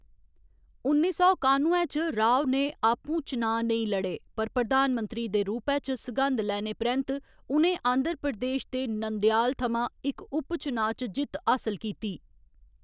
उन्नी सौ कानुए च राव ने आपूं चुनांऽ नेईं लड़े, पर प्रधानमंत्री दे रूपै च सघंद लैने परैंत्त उ'नें आंध्र प्रदेश दे नंदयाल थमां इक उपचुनाव च जित्त हासल कीती।